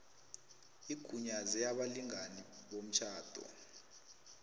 igunyaze abalingani bomtjhado